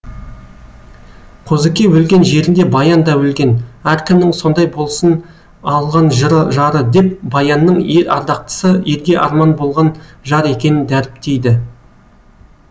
қозыке өлген жерінде баян да өлген әркімнің сондай болсын алған жары деп баянның ел ардақтысы ерге арман болған жар екенін дәріптейді